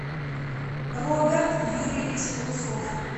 роберт юрьевич лысов